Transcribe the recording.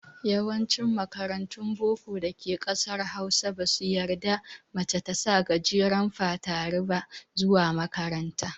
Yawancin makarantun boko da ke ƙasar Hausa, ba su yarda mace ta sa gajeren fatari ba zuwa makaranta.